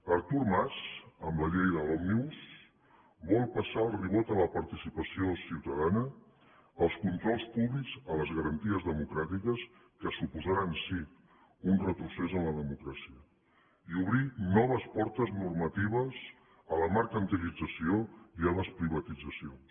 artur mas amb la llei de l’òmnibus vol passar el ribot a la participació ciutadana als controls públics a les garanties democràtiques que suposaran sí un retrocés en la democràcia i obrir noves portes normatives a la mercantilització i a les privatitzacions